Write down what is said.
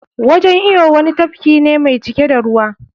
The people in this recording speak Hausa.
Wajan iyo wani tafki ne mai cike da ruwa.